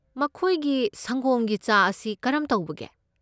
ꯃꯈꯣꯏꯒꯤ ꯁꯪꯒꯣꯝꯒꯤ ꯆꯥ ꯑꯁꯤ ꯀꯔꯝ ꯇꯧꯕꯒꯦ?